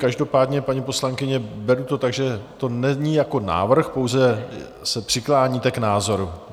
Každopádně, paní poslankyně, beru to tak, že to není jako návrh, pouze se přikláníte k názoru.